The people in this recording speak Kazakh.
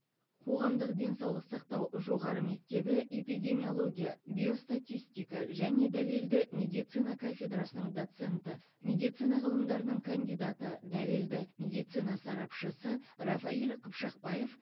қоғамдық денсаулық сақтау жоғары мектебі эпидемиология биостатистика және дәлелді медицина кафедрасының доценті медицина ғылымдарының кандидаты дәлелді медицина сарапшысы рафаиль қыпшақбаев